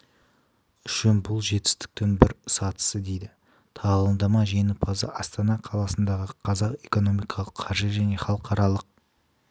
үшін бұл жетістіктің бір сатысы дейді тағылымдама жеңімпазы астана қаласындағы қазақ экономикалық қаржы және халықаралық